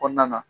Kɔɔna na